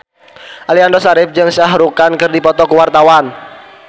Aliando Syarif jeung Shah Rukh Khan keur dipoto ku wartawan